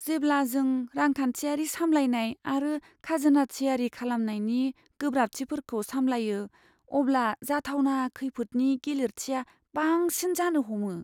जेब्ला जों रांखान्थियारि सामलायनाय आरो खाजोना थियारि खालामनायनि गोब्राबथिफोरखौ सामलायो, अब्ला जाथावना खैफोदनि गिलिरथिआ बांसिन जानो हमो।